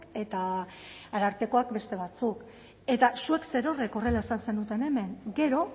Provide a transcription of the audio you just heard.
eta arartekoak beste batzuk eta zuek zerorrek horrela esan zenuten hemen gero